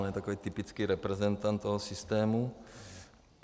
On je takový typický reprezentant toho systému.